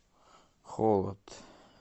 холод